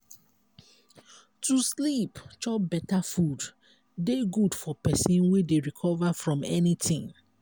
to sleep chop beta food dey good for pesin wey dey recover from anything.